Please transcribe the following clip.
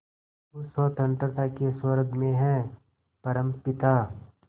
उस स्वतंत्रता के स्वर्ग में हे परमपिता